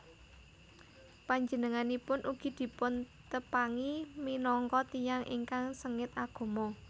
Panjenenganipun ugi dipuntepangi minangka tiyang ingkang sengit agama